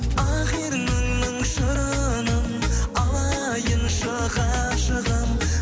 ақ ерніңнің шырынын алайыншы ғашығым